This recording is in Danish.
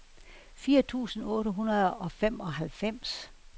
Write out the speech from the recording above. fire tusind otte hundrede og femoghalvfems